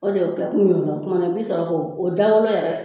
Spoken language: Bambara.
O de ye o kɛ kun ye o la kumana i bi sɔrɔ k'o da wolo yɛrɛ